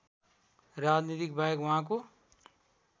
राजनीतिबाहेक उहाँको